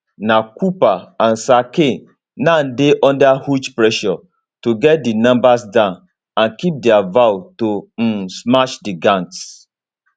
na cooper and sir keir now dey under huge pressure to get di numbers down and keep dia vow to um smash di gangs